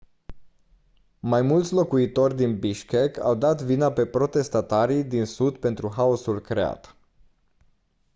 mai mulți locuitori din bishkek au dat vina pe protestatarii din sud pentru haosul creat